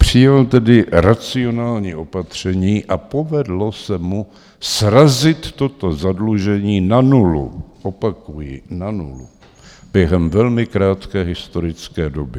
Přijal tedy racionální opatření a povedlo se mu srazit toto zadlužení na nulu, opakuji, na nulu, během velmi krátké historické doby.